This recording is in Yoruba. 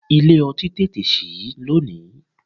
Ilé ọtí tètè sí lónìí.